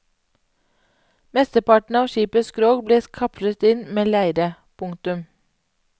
Mesteparten av skipets skrog ble kapslet inn med leire. punktum